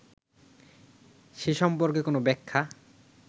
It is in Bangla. সে সম্পর্কে কোন ব্যাখ্যা